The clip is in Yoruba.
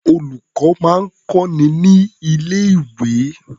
Olùkọ́ máa ń kọ́ni ní ilé-̀wé.